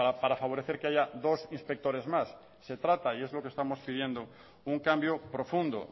para favorecer que haya dos inspectores más se trata y es lo que estamos pidiendo un cambio profundo